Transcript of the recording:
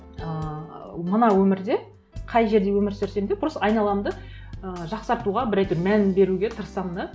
ыыы мына өмірде қай жерде өмір сүрсем де просто айналамды ыыы жақсартуға бір әйтеуір мән беруге тырысамын да